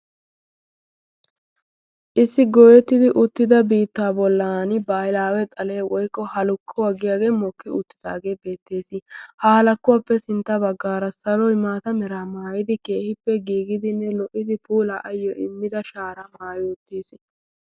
issi gooyettidi uttida biittaa bollan baahilaawe xalee woykko ha lokku haggiyaagee mokki uttidaagee beettees ha halakkuwaappe sintta baggaara saloy maata mera maayidi keehippe giigidinne lo''idi puula ayyo immida shaara maayi uttiis